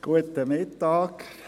Guten Mittag.